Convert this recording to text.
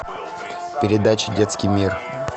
передача детский мир